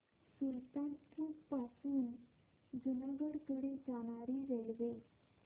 सुल्तानपुर पासून जुनागढ कडे जाणारी रेल्वे